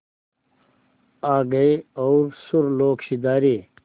आ गए और सुरलोक सिधारे